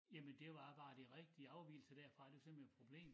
Jamen det var bare de rigtige afvigelser derfra det var simpelthen et problem